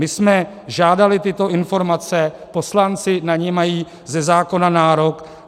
My jsme žádali tyto informace, poslanci na ně mají ze zákona nárok.